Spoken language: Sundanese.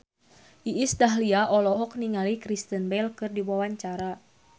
Iis Dahlia olohok ningali Kristen Bell keur diwawancara